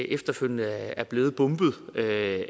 efterfølgende er blevet bombet af